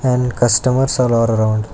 and customers are all arround.